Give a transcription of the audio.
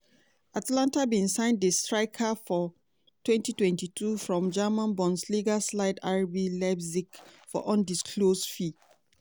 atalanta bin sign di striker for twenty twenty two from german bundesliga slide rb leipzig for undisclosed fee.